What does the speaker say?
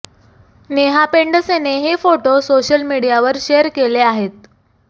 नेहा पेंडसेने हे photo social मीडियावर शेअर केले आहेत